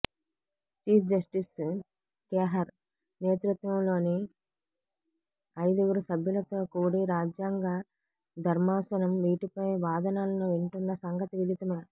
cheap justice Khehar నేతృత్వంలోని అయిదుగురుసభ్యులతో కూడి రాజ్యంగ ధర్మాసనం వీటిపై వాదనలను వింటున్న సంగతి విదితమే